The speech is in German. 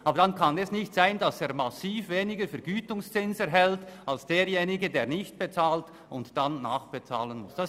Aber dann kann es nicht sein, dass er massiv weniger Vergütungszins erhält als derjenige, der nicht bezahlt und dann nachbezahlen muss.